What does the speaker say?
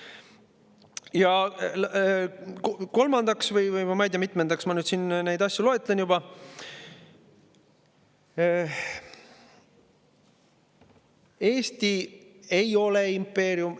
Ja kolmandaks – või ma ei tea mitmendaks ma siin neid asju loetlen juba –, Eesti ei ole impeerium.